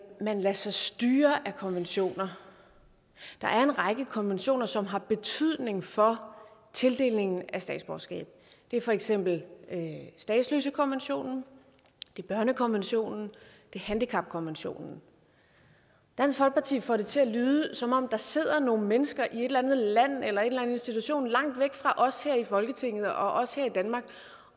man lader sig styre af konventioner der er en række konventioner som har betydning for tildelingen af statsborgerskab det er for eksempel statsløsekonventionen børnekonventionen og handicapkonventionen dansk folkeparti får det til at lyde som om der sidder nogle mennesker i et eller andet land eller i anden institution langt væk fra os her i folketinget og os her i danmark